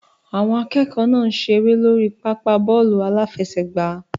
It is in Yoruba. Àwọn akẹ́kọ̀ọ́ náà ń ṣeré lórí pápá bọ́ọ̀lù aláfẹsẹ̀gbá.